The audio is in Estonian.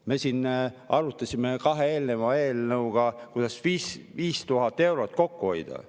Me siin arutasime kahe eelneva eelnõu juures, kuidas 5000 eurot kokku hoida.